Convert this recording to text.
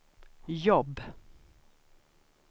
jobb